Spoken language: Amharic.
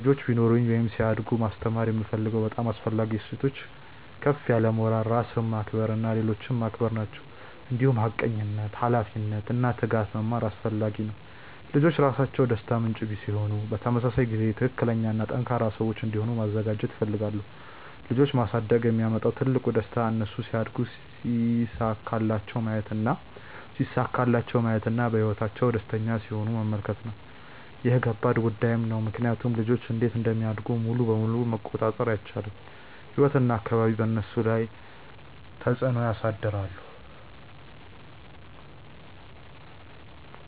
ልጆች ቢኖሩኝ ወይም ሲያድጉ ማስተማር የምፈልጋቸው በጣም አስፈላጊ እሴቶች ከፍ ያለ ሞራል፣ ራስን ማክበር እና ሌሎችን ማክበር ናቸው። እንዲሁም ሐቀኝነት፣ ኃላፊነት እና ትጋት መማር አስፈላጊ ነው። ልጆች ራሳቸው ደስታ ምንጭ ሲሆኑ በተመሳሳይ ጊዜ ትክክለኛ እና ጠንካራ ሰዎች እንዲሆኑ ማዘጋጀት እፈልጋለሁ። ልጆች ማሳደግ የሚያመጣው ትልቁ ደስታ እነሱ ሲያድጉ ሲሳካላቸው ማየት እና በህይወታቸው ደስተኛ ሲሆኑ መመልከት ነው። ይህ ከባድ ጉዳይም ነው ምክንያቱም ልጆች እንዴት እንደሚያድጉ ሙሉ በሙሉ መቆጣጠር አይቻልም፤ ህይወት እና አካባቢ በእነሱ ላይ ተፅዕኖ ያሳድራሉ።